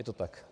Je to tak?